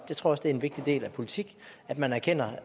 tror også det er en vigtig del af politik at man erkender